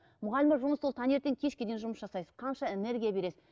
мұғалім болып жұмысты ол таңертеңнен кешке дейін жұмыс жасайсыз қанша энергия бересіз